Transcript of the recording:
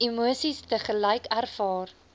emosies tegelyk ervaar